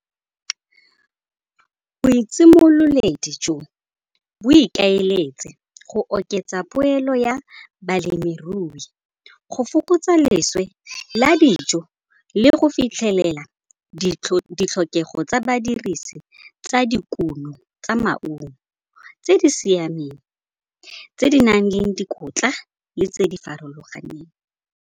jo, bo ikaeletse go oketsa poelo ya balemirui, go fokotsa leswe la dijo le go fitlhelela ditlhokego tsa badirisi tsa dikuno tsa maungo tse di siameng, tse di nang le dikotla le tse di farologaneng.